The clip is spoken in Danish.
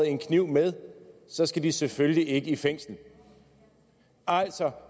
en kniv med så skal de selvfølgelig ikke i fængsel altså